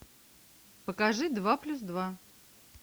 покажи два плюс два